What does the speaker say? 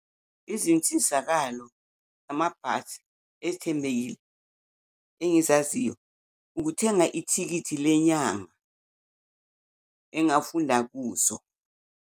Izinsizakalo amabhasi ezithembekile engizaziyo ukuthenga ithikithi lenyanga engafunda kuso.